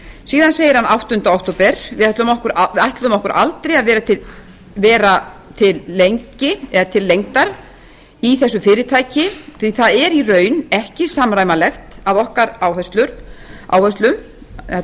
síðan segir hann áttunda október við ætluðum okkur aldrei að vera lengi eða til lengdar í þessu fyrirtæki því það er í raun ekki samræmanlegt að okkar áherslum þetta er svona svolítið skrítið